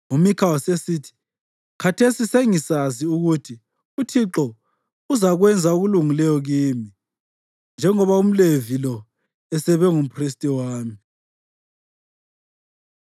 UMikha wasesithi, “Khathesi sengisazi ukuthi uThixo uzakwenza okulungileyo kimi, njengoba umLevi lo esebe ngumphristi wami.”